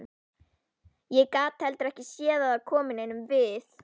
Ég get heldur ekki séð að það komi neinum við.